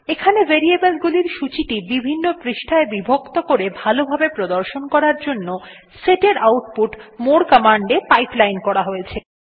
এখানে ভেরিয়েবল গুলির সূচীটি বিভিন্ন পৃষ্ঠায় বিভক্ত করে ভালো ভাবে প্রদর্শন করার জন্য set এর আউটপুট more কমান্ড এ পাইপলাইন করা হয়েছে